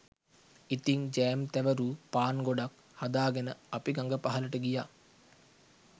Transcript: ඉතිං ජෑම් තැවරූ පාන් ගොඩක් හදාගෙන අපි ගඟ පහළට ගියා